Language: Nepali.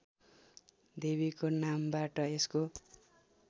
देवीको नामबाट यसको